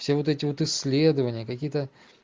все вот эти вот исследования какие-то